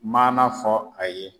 Maana fɔ a ye